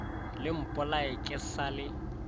le mpolaye ke sa le